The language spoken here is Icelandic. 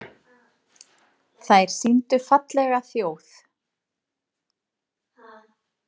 Þær sýndu fallega þjóð.